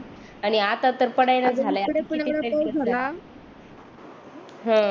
आणि आता तर पडायला हम्म